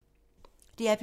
DR P3